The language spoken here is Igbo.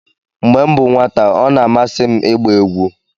mgbe m bụ nwata ọ na-amasị m ịgba egwu